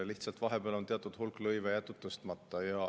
Lihtsalt vahepeal on teatud hulk lõive jäetud tõstmata.